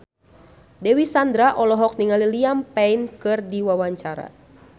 Dewi Sandra olohok ningali Liam Payne keur diwawancara